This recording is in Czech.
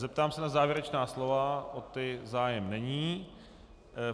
Zeptám se na závěrečná slova - o která zájem není.